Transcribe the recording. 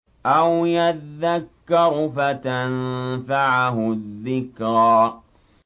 أَوْ يَذَّكَّرُ فَتَنفَعَهُ الذِّكْرَىٰ